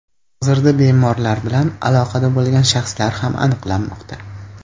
Hozirda bemorlar bilan aloqada bo‘lgan shaxslar ham aniqlanmoqda.